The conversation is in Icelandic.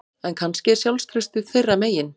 En kannski er sjálfstraustið þeirra megin